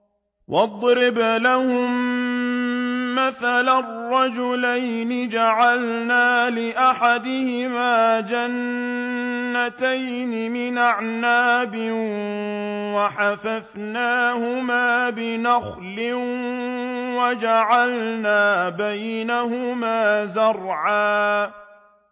۞ وَاضْرِبْ لَهُم مَّثَلًا رَّجُلَيْنِ جَعَلْنَا لِأَحَدِهِمَا جَنَّتَيْنِ مِنْ أَعْنَابٍ وَحَفَفْنَاهُمَا بِنَخْلٍ وَجَعَلْنَا بَيْنَهُمَا زَرْعًا